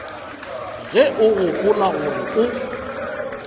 ge o gopola gore o